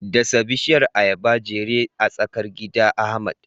Dasa bishiyar ayaba jere a tsakar gida, Ahmad.